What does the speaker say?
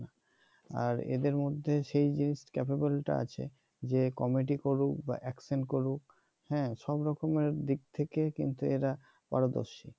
আর এদের মধ্যে সেই যে capable টা আছে যে কমেডি করুক বা অ্যাকশন করুক হ্যাঁ সব রকমের দিক থেকে কিন্তু এরা পারদর্শী